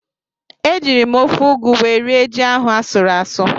Ejiri m ofe ụgụ wee rie ji ahụ asụrụ asụ.